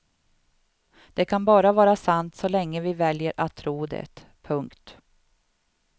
Det kan bara vara sant så länge vi väljer att tro det. punkt